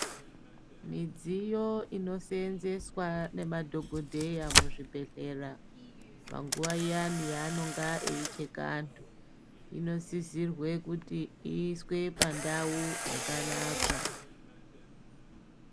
Midziyo inoseenzeswa ngemadhogodhera muzvibhedhlera panguwa iyani yaanonge eicheka anhu inosisirwe kuti iiswe pandau yakanaka.